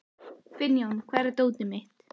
Finnjón, hvar er dótið mitt?